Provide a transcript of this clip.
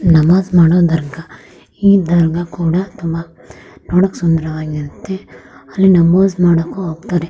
ನಮಾಜ್ ಮಾಡೋ ದರ್ಗಾ ಈ ದರ್ಗಾ ಕೂಡ ತುಂಬಾ ನೋಡಕ್ ಸುಂದರವಾಗಿರತ್ತೆ ಅಲ್ಲಿ ನಮಾಜ್ ಮಾಡೋಕು ಹೋಗ್ತಾರೆ .